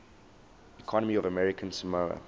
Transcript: economy of american samoa